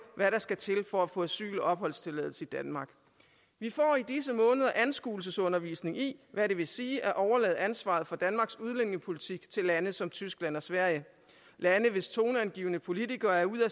hvad der skal til for at få asyl og opholdstilladelse i danmark vi får i disse måneder anskuelsesundervisning i hvad det vil sige at overlade ansvaret for danmarks udlændingepolitik til lande som tyskland og sverige lande hvis toneangivende politikere er ude af